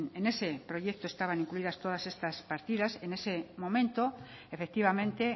en ese proyectos estaban incluidas todas estas partidas en ese momento efectivamente